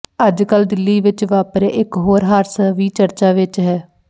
ਅੱਜਕਲ੍ਹ ਦਿੱਲੀ ਵਿਚ ਵਾਪਰਿਆ ਇਕ ਹੋਰ ਹਾਦਸਾ ਵੀ ਚਰਚਾ ਵਿਚ ਹੈ